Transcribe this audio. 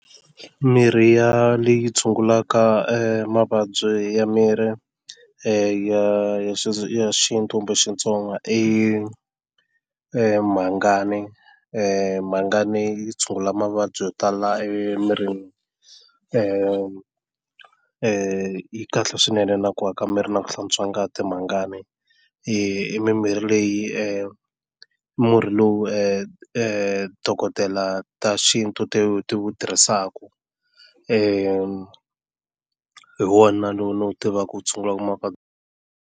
Mirhi ya leyi tshungulaka mavabyi ya miri ya xintu kumbe Xitsonga i i mhangani mhangani yi tshungula mavabyi yo tala emirini yi kahle swinene na ku aka miri na ku hlantswa ngati mhangani i mimirhi leyi i murhi lowu dokodela ta xintu ti wu tirhisaka hi wona lowu ni wu tivaka u tshungulaka .